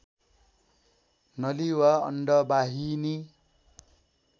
नली वा अण्डबाहिनी